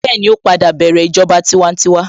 Bẹ́ẹ̀ni, ó padà bẹ̀rẹ̀ ìjọba tiwantiwa